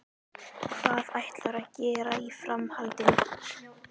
Hvað ætlarðu að gera í framhaldinu?